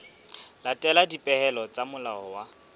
latela dipehelo tsa molao wa